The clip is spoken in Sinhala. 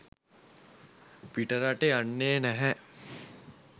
පිටරට යන්නේ නැහැ